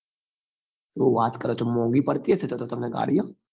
શું વાત કરો છો મોંઘી પડતી હશે તો તો તમને ગાડી એમ